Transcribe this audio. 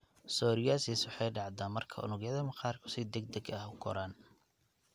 Psoriasis waxay dhacdaa marka unugyada maqaarku si degdeg ah u koraan.